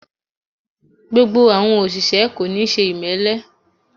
Gbogbo àwọn òṣìṣẹ́ kò níí ṣe ìmẹ́lẹ́